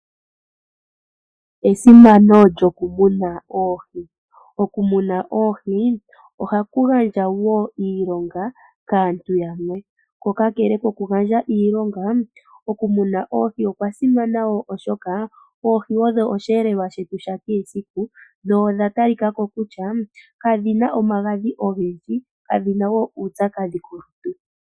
Esimano lyokumuna oohi. Okumuna oohi ohaku gandja wo iilonga kaantu yamwe ko kakele kokugandja iilonga okumuna oohi okwa simana wo oohi odho osheelelwa shetu sha kehe esiku nodha talikako kutya kadhi na omagadhi ogendji dho kadhi na wo uupyakadhi kolutu.